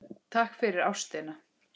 Takk fyrir ástina.